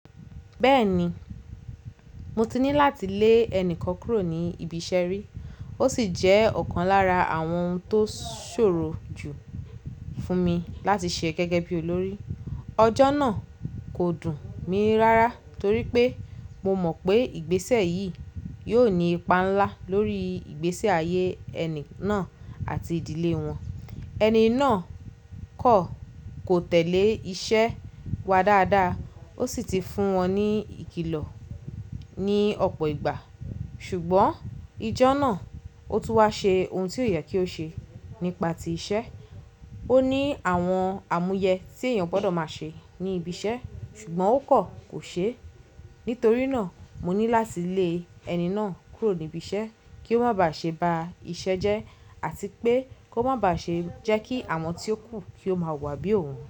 Bẹ́ẹ̀ni, mo ti ní láti lé ẹni kan kúrò ní ibi iṣẹ́ rí. Ó sì jẹ́ ọ̀kan lára àwọn ohun tó ṣòro jù fún mi láti ṣe gẹ́gẹ́ bí olórí. Ọjọ́ náà kò dùn mi rárá torí pé mo mọ̀ pé ìgbésẹ̀ yìí yóò ní ipa ńlá lórí ìgbésí ayé ẹni náà àti ìdílé wọn. Ẹni náà kọ̀ kò tẹ́lẹ̀ iṣẹ́ wa dáadáa, ó sì ti fún wọn ní ìkìlọ̀ ní ọ̀pọ̀ ìgbà. Ṣùgbọ́n ijọ́ náà ó tún wá ṣe ohun tí ó yẹ kí ó ṣe nípa ti iṣẹ́. Ó ní àwọn àmúyẹ tí èèyàn gbọ́dọ̀ máa ṣe ní ibi iṣẹ́, ṣùgbọ́n ó kọ̀ kò ṣe é. Nítorí náà mo ní láti lé ẹni náà kúrò níbi iṣẹ́ kí ó má bà ṣe ba iṣẹ́ jẹ́ àti pé kó má bà ṣe jẹ́ kí àwọn tí ó kù kí ó máa wà bí òun.